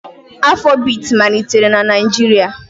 Afrobiiti malitere na Naịjirịa